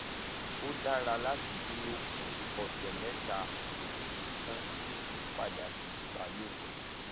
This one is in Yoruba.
ó dára láti dúró fún ọsẹ mẹta ó kéré tán kó o tó padà sí ìbálòpọ